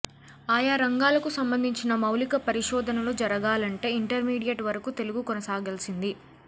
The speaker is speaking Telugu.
ఆయా రంగాలకు సంబంధించిన మౌలిక పరిశోధనలు జరగాలంటే ఇంటర్మీడియట్ వరకు తెలుగు కొనసాగాల్సింది